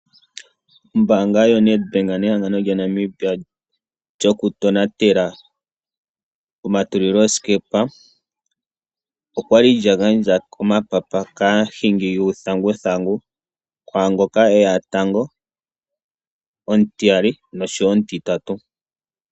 Ombaanga yoNedbank nehangano lyaNamibia lyokutonatela omatulilosikepa, okwali lya gandja omapapa kaahingi yuuthanguthangu. Kwaa ngoka eya tango, omutiya nosho wo omutitatu.